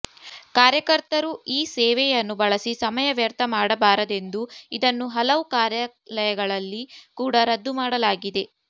ಕಾರ್ಯಕರ್ತರು ಈ ಸೇವೆಯನ್ನು ಬಳಸಿ ಸಮಯ ವ್ಯರ್ಥ ಮಾಡಬಾರದೆಂದು ಇದನ್ನು ಹಲವು ಕಾರ್ಯಾಲಯಗಳಲ್ಲಿ ಕೂಡ ರದ್ದು ಮಾಡಲಾಗಿದೆ